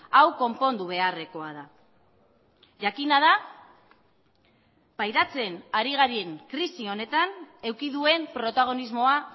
hau konpondu beharrekoa da jakina da pairatzen ari garen krisi honetan eduki duen protagonismoa